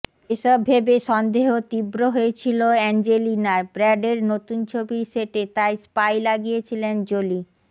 এসব ভেবে সন্দেহ তীব্র হয়েছিল অ্যাঞ্জেলিনার ব্র্যাডের নতুন ছবির সেটে তাই স্পাই লাগিয়েছিলেন জোলি